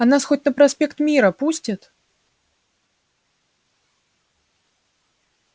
а нас хоть на проспект мира пустят